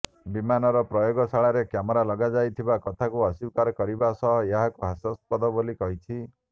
ବିମାନର ପ୍ରୟୋଗଶାଳାରେ କ୍ୟାମେରା ଲଗାଯାଇଥିବା କଥାକୁ ଅସ୍ୱୀକାର କରିବା ସହ ଏହାକୁ ହସ୍ୟାସ୍ପଦ ବୋଲି କହିଛି